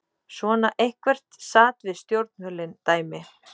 Svona eitthvert sat-við-stjórnvölinn-dæmi.